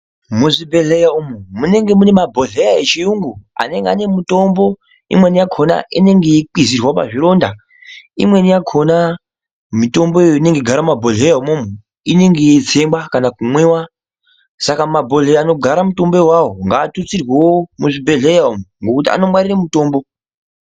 Muzvibhedhleya umu munenge mune mabhodhleya echiyungu anenge ane mitombo imweni yakona inenge yeikwizirwa pazvironda imweni yakona mitomboyo inenge yeigara mumabhodhleya umwomwo inenge yeitsengwa kana kumwiwa saka mabhodhleya anogara mitombo iawo ngaatutsirweo muzvibhedhleya umu ngekuti anngwarira mitombo.